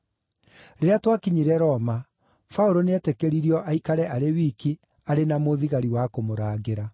Rĩrĩa twakinyire Roma, Paũlũ nĩetĩkĩririo aikare arĩ wiki, arĩ na mũthigari wa kũmũrangĩra.